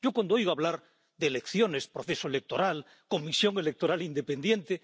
Cuando oigo hablar de elecciones, proceso electoral, comisión electoral independiente...